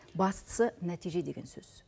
бастысы нәтиже деген сөз